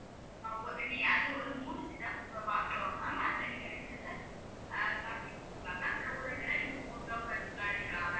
அதுல ஒரு மூணு set of box வரும் ma'am அதுல நீங்க ரெண்டு இதுல, அஹ் chocolate வெச்சுக்கலாம் ma'am so ஒரு இதுல நீங்க photo, quotes லா எழுதிக்கலாம் ma'am